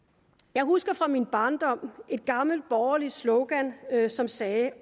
jeg husker fra min barndom et gammelt borgerligt slogan som sagde